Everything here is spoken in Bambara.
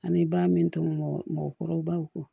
Ani ba min to mɔgɔkɔrɔbaw